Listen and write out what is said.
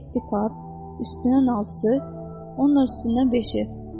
Yeddi kart üstünə nalcısı, onun da üstündən beşir.